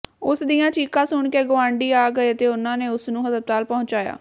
ਉਸ ਦੀਆਂ ਚੀਕਾਂ ਸੁਣ ਦੇ ਗੁਆਂਢੀ ਆ ਗਏ ਅਤੇ ਉਨ੍ਹਾਂ ਨੇ ਉਸ ਨੂੰ ਹਸਪਤਾਲ ਪਹੁੰਚਾਇਆ